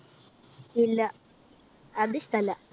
ഇല്ല. അത് ഇഷ്ടല്ല.